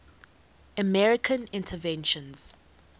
american inventions